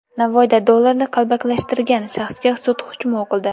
Navoiyda dollarni qalbakilashtirgan shaxsga sud hukmi o‘qildi.